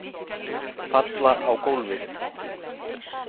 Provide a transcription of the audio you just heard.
Falla á gólfið.